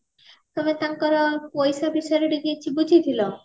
ହେଲେ ତାଙ୍କର ପଇସା ବିଷୟରେ ଟିକେ କିଛି ବୁଝିଥିଲ